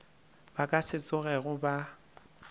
ba ka se tsogego ba